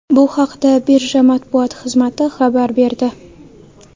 Bu haqda birja matbuot xizmati xabar berdi .